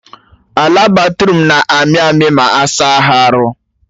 Ala Bathroom na-amị amị ma asa ha arụ